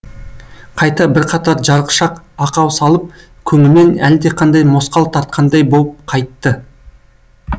қайта бірқатар жарықшақ ақау салып көңілмен әлдеқандай мосқал тартқандай боп қайтты